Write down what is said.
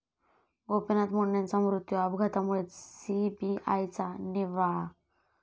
गोपीनाथ मुंडेंचा मृत्यू अपघातामुळेच, सीबीआयचा निर्वाळा